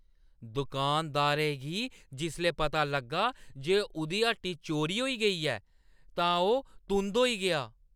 दुकानदारै गी जिसलै पता लग्गा जे उʼदी हट्टी चोरी होई गेई ऐ तां ओह् तुंद होई गेआ।